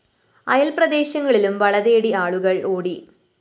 അയല്‍ പ്രദേശങ്ങളിലും വള തേടി ആളുകള്‍ ഓടി